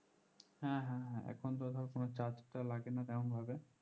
হ্যাঁ হ্যাঁ হ্যাঁ এখনতো ধর কোনো charge টা লাগেনা তেমন ভাবে